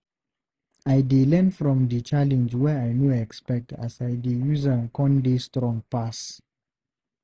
I dey learn from di challenge wey I no expect as I dey use am con dey strong pass.